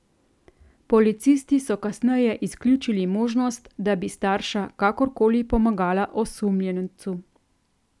Policisti so kasneje izključili možnost, da bi starša kakorkoli pomagala osumljencu.